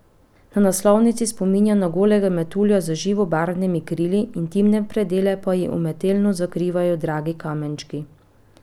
Na naslovnici spominja na golega metulja z živobarvnimi krili, intimne predele pa ji umetelno zakrivajo dragi kamenčki.